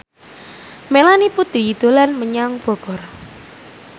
Melanie Putri dolan menyang Bogor